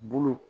Bolo